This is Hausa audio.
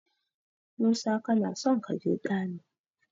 Musa kanason kaje ɗani.